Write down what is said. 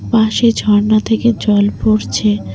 পাশে ঝর্ণা থেকে জল পড়ছে।